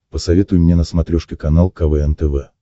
посоветуй мне на смотрешке канал квн тв